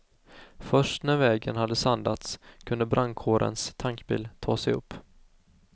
Först när vägen hade sandats kunde brandkårens tankbil ta sig upp.